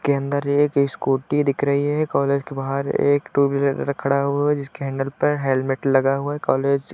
के अंदर एक स्कूटी दिख रही है। कॉलेज के बाहर एक टूव्हीलर र खड़ा हुआ है जिसके हैंडल पे हेलमेट लगा हुआ है। कॉलेज --